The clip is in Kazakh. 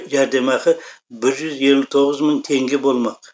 жәрдемақы бір жүз елу тоғыз мың теңге болмақ